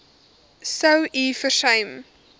sou u versuim